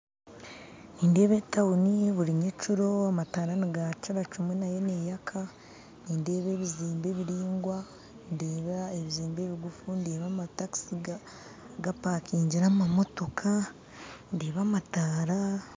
Nindeeba etauni buri nyekiro amataara nigakiira kyimwe nayo neeyaka nindeeba ebizimbe ebiraingwa ndeeba ebizimbe ebiguufu ndeeba amataxi gapakingire amamotooka ndeeba amataara